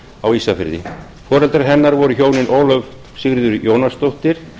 á ísafirði foreldrar hennar voru hjónin ólöf sigríður jónasdóttir